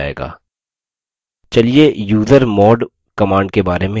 चलिए usermod command के बारे में सीखते हैं